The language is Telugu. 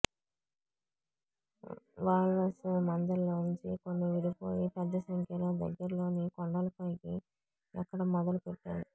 వాల్రస్ మందల్లోంచి కొన్ని విడిపోయి పెద్దసంఖ్యలో దగ్గర్లోని కొండలపైకి ఎక్కడం మొదలుపెట్టాయి